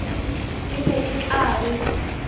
e be e tla be